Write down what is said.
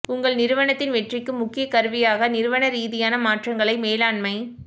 உங்கள் நிறுவனத்தின் வெற்றிக்கு முக்கிய கருவியாக நிறுவன ரீதியான மாற்றங்களைக் மேலாண்மை